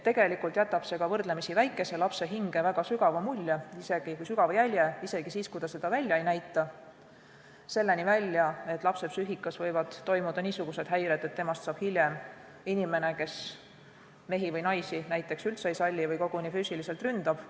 Tegelikult jätab see ka väikese lapse hinge väga sügava jälje isegi siis, kui ta seda välja ei näita, kuni selleni välja, et lapse psüühikas võivad toimuda niisugused häired, et temast saab hiljem inimene, kes mehi või naisi näiteks üldse ei salli või koguni füüsiliselt ründab.